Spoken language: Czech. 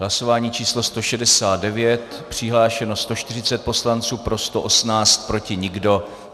Hlasování číslo 169, přihlášeno 140 poslanců, pro 118, proti nikdo.